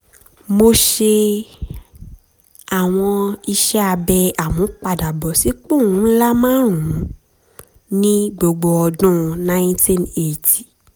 mo ṣe àwọn iṣẹ́ abẹ ìmúpadàbọ̀sípò ńlá márùn-ún ní gbogbo ọdún ninety eighty